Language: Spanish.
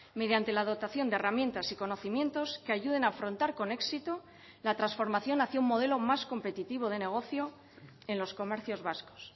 mediante la dotación de herramientas y conocimientos que ayuden a afrontar con éxito la transformación hacia un modelo más competitivo de negocio en los comercios vascos